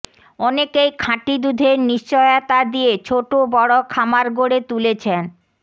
অনেকেই খাঁটি দুধের নিশ্চয়তা দিয়ে ছোট বড় খামার গড়ে তুলেছেন